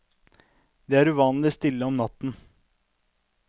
Det er uvanlig stille om natten.